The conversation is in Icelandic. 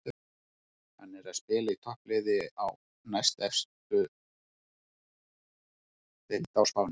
Hann er að spila í toppliði á næstefstu deild á Spáni.